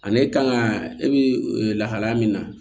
Ani e kan ka e bi lahalaya min na